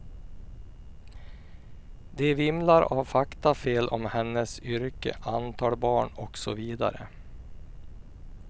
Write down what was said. De vimlar av faktafel om hennes yrke, antal barn och så vidare.